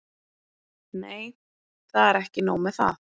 Nei, það er ekki nóg með það.